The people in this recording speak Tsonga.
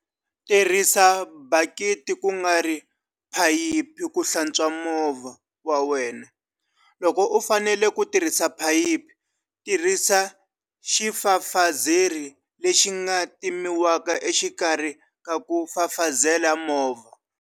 Tirhisa bakiti kungari phayiphi ku hlatswa movha wa wena. Loko u fanele ku tirhisa phayiphi, tirhisa xifafazeri lexi nga timiwaka exikarhi ka ku fafazela movha.